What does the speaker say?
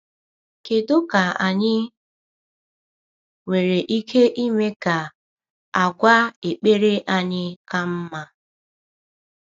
Kedu ka anyị nwere ike ime ka àgwà ekpere anyị ka mma?